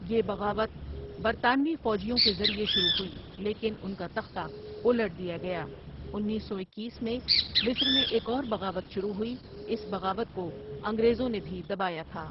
یہ بغاوت برطانوی فوجیوں کے ذریعہ شروع ہوئی لیکن ان کا تختہ الٹ دیا گیا انیس سو اکیس میں مصر میں ایک اور بغاوت شروع ہوئی اس بغاوت کو انگریزوں نے بھی دبایا تھا ۔